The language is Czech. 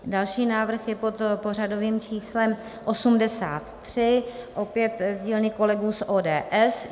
Další návrh je pod pořadovým číslem 83, opět z dílny kolegů z ODS.